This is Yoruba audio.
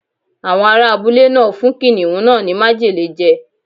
Àwọn ará abúlé náà fún kìnnìún náà ní májèlé je.